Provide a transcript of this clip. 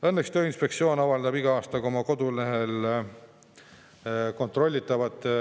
Õnneks Tööinspektsioon iga aasta oma kodulehel avaldab kontrollitavate